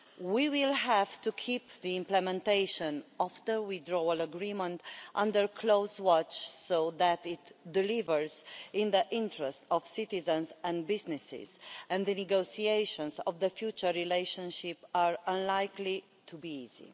We will have to keep the implementation of the Withdrawal Agreement under close watch so that it delivers in the interest of citizens and businesses. The negotiations on the future relationship are unlikely to be easy.